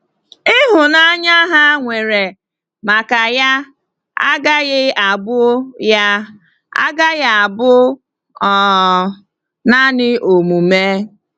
Ịhụnanya ha nwere maka ya agaghị abụ ya agaghị abụ um naanị omume.